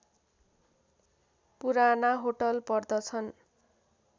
पुराना होटल पर्दछन्